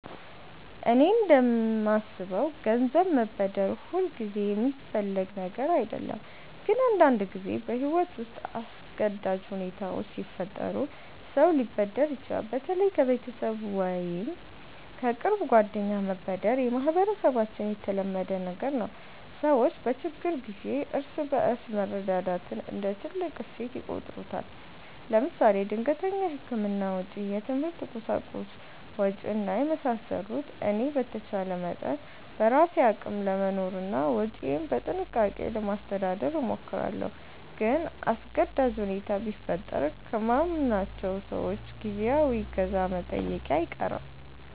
እኔ እንደማስበው ገንዘብ መበደር ሁልጊዜ የሚፈለግ ነገር አይደለም፣ ግን አንዳንድ ጊዜ በሕይወት ውስጥ አስገዳጅ ሁኔታዎች ሲፈጠሩ ሰው ሊበደር ይችላል። በተለይ ከቤተሰብ ወይም ከቅርብ ጓደኞች መበደር በማህበረሰባችን የተለመደ ነገር ነው። ሰዎች በችግር ጊዜ እርስ በርስ መረዳዳትን እንደ ትልቅ እሴት ይቆጥሩታል። ለምሳሌ ድንገተኛ የሕክምና ወጪ፣ የትምህርት ቁሳቁስ ወጭ እና የመሳሰሉት። እኔ በተቻለ መጠን በራሴ አቅም ለመኖርና ወጪዬን በጥንቃቄ ለማስተዳደር እሞክራለሁ። ግን አስገዳጅ ሁኔታ ቢፈጠር ከማምናቸው ሰዎች ጊዜያዊ እገዛ መጠየቄ አይቀርም